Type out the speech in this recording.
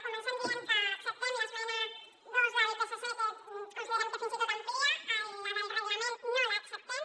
comencem dient que acceptem l’esmena dos del psc que considerem que fins i tot amplia la del reglament no l’acceptem